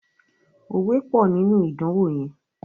òwe pọ nínú idanwo yén.